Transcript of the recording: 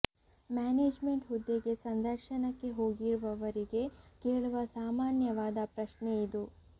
manage made ಹುದ್ದೆಗೆ ಸಂದರ್ಶನಕ್ಕೆ ಹೋಗಿರುವವರಿಗೆ ಕೇಳುವ ಸಾಮಾನ್ಯವಾದ ಪ್ರಶ್ನೆ ಇದು